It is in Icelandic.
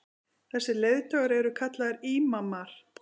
þessir leiðtogar eru kallaðir ímamar